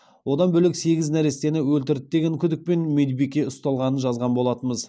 одан бөлек сегіз нәрестені өлтірді деген күдікпен медбике ұсталғанын жазған болатынбыз